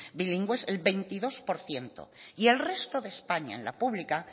bilingües el veintidós por ciento y el resto de españa en la pública